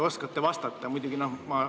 Kas oskate vastata?